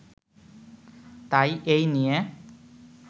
তাই এই নিয়ে